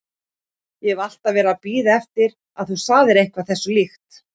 Ég hef alltaf verið að bíða eftir að þú segðir eitthvað þessu líkt.